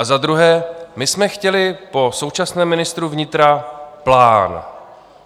A za druhé, my jsme chtěli po současném ministru vnitra plán.